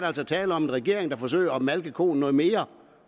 altså tale om en regering der forsøger at malke koen noget mere